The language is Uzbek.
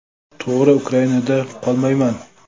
To‘g‘ri, Ukrainada qolmayman.